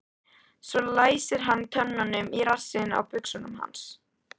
Svo læsir hann tönnunum í rassinn á buxunum hans.